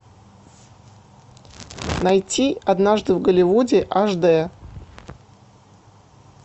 найти однажды в голливуде аш д